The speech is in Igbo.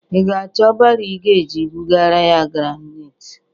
Ị ga-achọ baro ị ga-eji bụgara ya graniti?